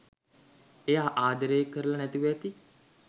එයා ආදරේ කරල නැතිව ඇති